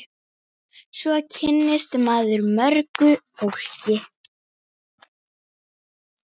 Svo kynnist maður mörgu fólki.